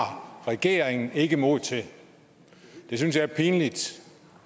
regeringen ikke mod til det synes jeg er pinligt